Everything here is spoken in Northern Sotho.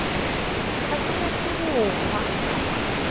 ga ke nyake go hlwa